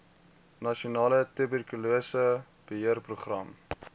nasionale tuberkulose beheerprogram